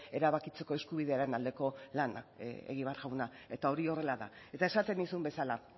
erabakitzeko eskubidearen aldeko lana egibar jauna eta hori horrela da eta esaten nizun bezala